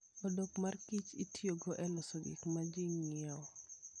Odok mar kich itiyogo e loso gik ma ji ng'iyo.